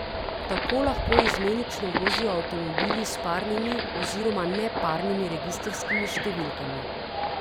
Tako lahko izmenično vozijo avtomobili s parnimi oziroma neparnimi registrskimi številkami.